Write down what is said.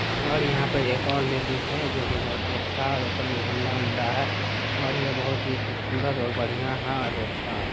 और यहाँ पर एक और लेडीज {ladies है जो कि बहुत ही अच्छा है। और ऊपर में झण्डा- उंडा है। और ये बहुत ही खूबसूरत और बढ़िया है और अच्छा है।}